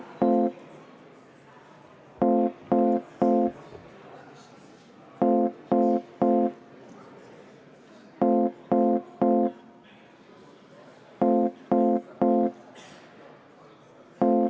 Lugupeetud ettekandja, teile on ka küsimusi.